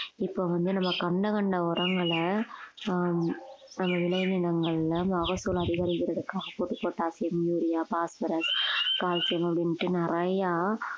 இப்ப வந்து நம்ம கண்ட கண்ட உரங்களை ஆஹ் நம்ம விளைநிலங்கள்ல மகசூல் அதிகரிக்கறதுக்காக போட்டு பொட்டாசியம் யூரியா பாஸ்பரஸ் கால்சியம் அப்படின்னுட்டு நிறையா